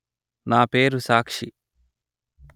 నా పేరు సాక్షి